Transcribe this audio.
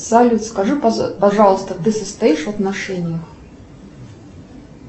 салют скажи пожалуйста ты состоишь в отношениях